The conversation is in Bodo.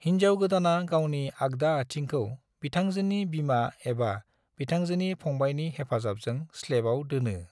हिनजाव गोदाना गावनि आगदा आथिंखौ बिथांजोनि बिमा एबा बिथांजोनि फंबायनि हेफाजाबजों स्लेबाव दोनो।